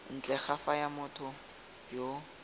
ntle ga fa motho yo